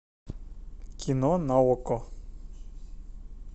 кино на окко